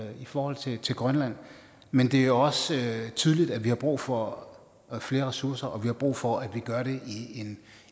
i forhold til til grønland men det er også tydeligt at vi har brug for flere ressourcer og at vi har brug for at vi gør det